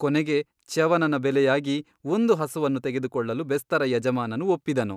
ಕೊನೆಗೆ ಚ್ಯವನನ ಬೆಲೆಯಾಗಿ ಒಂದು ಹಸುವನ್ನು ತೆಗೆದುಕೊಳ್ಳಲು ಬೆಸ್ತರ ಯಜಮಾನನು ಒಪ್ಪಿದನು.